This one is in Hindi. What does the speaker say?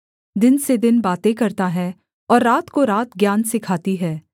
दिन से दिन बातें करता है और रात को रात ज्ञान सिखाती है